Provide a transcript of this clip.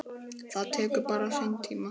Það tekur bara sinn tíma.